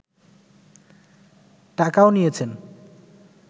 টাকাও নিয়েছেন